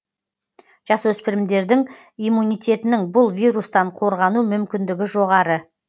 жасөспірімдердің иммунитетінің бұл вирустан қорғану мүмкіндігі жоғары